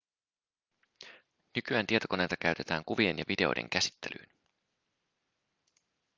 nykyään tietokoneita käytetään kuvien ja videoiden käsittelyyn